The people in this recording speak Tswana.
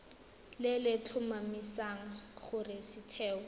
le le tlhomamisang gore setheo